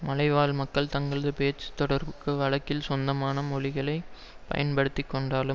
மலைவாழ் மக்கள் தங்களது பேச்சு தொடர்புக்கு வழக்கில் சொந்த மொழிகளை பயன்படுத்தி கொண்டாலும்